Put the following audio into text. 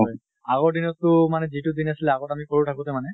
হয় আগৰ দিনত টো মানে যিটো দিন আছিলে আগত আমি সৰু থাকোতে মানে